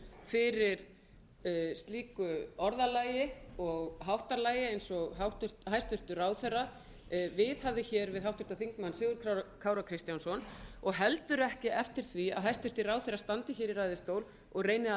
eftir slíku orðalagi og háttalagi eins og háttvirtur þingmaður viðhafði við háttvirtan þingmann sigurð kára kristjánsson og heldur ekki eftir því að hæstvirtur ráðherra standi í ræðustól og reyni að